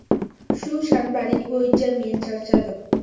Shu shanbalik bo‘yicha men charchadim.